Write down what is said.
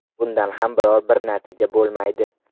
Bundan ham biron-bir natija bo‘lmaydi.